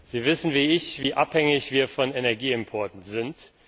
Sie wissen wie ich, wie abhängig wir von Energieimporten sind.